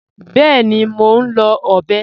Bẹẹ̀ni, mó nlọ̀ ọbẹ